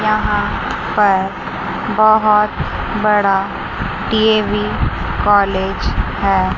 यहां पर बहुत बड़ा डी_ए_वी कॉलेज है।